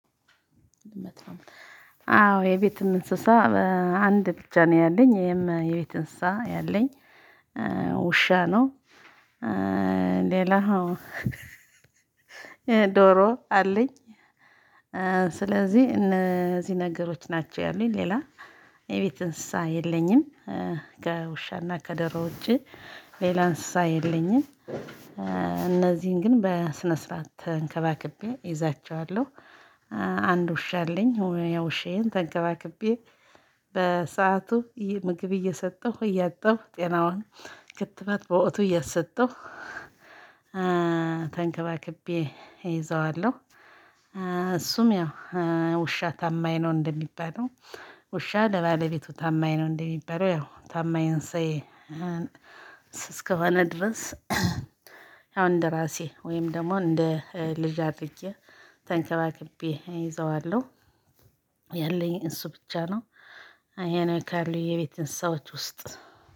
አዎ የቤትም እንስሳ አንድ ብቻ ነው ያለኝ ይሄም የቤት እንስሳ ያለኝ ውሻ ነው። ሌላ ዶሮ አለኝ። ስለዚህ እነዚህ ነገሮች ናቸው ያሉኝ ሌላ የቤት እንስሳ የለኝም ከውሻና ከዶሮ ውጪ ሌላ እንስሳ የለኝም እነዚህን ግን በስነ ስርዓት ተንከባክቤ ይዛቸዋለሁ። አንድ ውሻ አለኝ ውሻዬን ተንከባክቤ በሰአቱ ምግብ እየሰጠሁ እያጠብኩ ጤናውን ክትባት በወቅቱ እያሰጠው። ተንከባክቤ ይዘዋለሁ። እሱም ያው ውሻ ታማኝ ነው እንደሚባለው ውሻ ለባለቤቱ ታማኝ ነው እንደሚባለው ያው ታማኝ እንስሳዬ። እስከሆነ ድረስ። እንደ ራሴ ወይም ደግሞ እንደ ልጅ አድርጌ ተንከባክቤ ይዘዋለሁ። ያለኝ እሱ ብቻ ነው። የኔ ካሉ የቤት እንስሳዎች ውስጥ